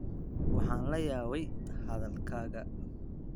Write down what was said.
Waxaan la yaabay hadalkaaga.